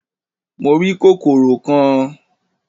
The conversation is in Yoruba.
Mo rí kòkòrò kan